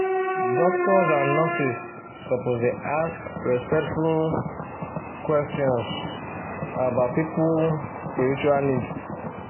doctors and nurses suppose dey ask respectful um um questions um about people um spiritual needs